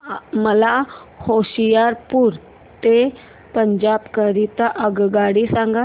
मला होशियारपुर ते पंजाब करीता आगगाडी सांगा